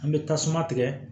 An bɛ tasuma tigɛ